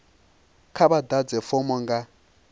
kha vha ḓadze fomo nga